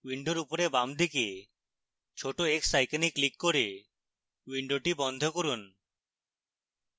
window উপরের বাম দিকে ছোট x icon ক্লিক করে window বন্ধ করুন